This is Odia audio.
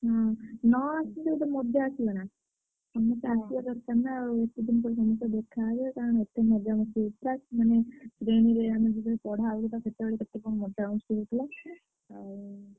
ହୁଁ ନ ଆସିଲେ ଗୋଟେ ମଜା ଆସିବ ନା। ସମସ୍ତେ ଆସିବା ଦରକାର ନା ଆଉ ସେଦିନ ତ ସମସ୍ତେ ଦେଖାହେବେ ମଜାମସ୍ତି ପଢା ହଉଥିଲା ସେତବେଳେ କେତେ କଣ ମଜାମସ୍ତି ହଉଥିଲା। ଆଉ।